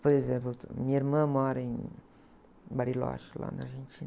Por exemplo, minha irmã mora em Bariloche, lá na Argentina.